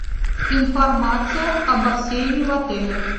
информация о бассейне в отеле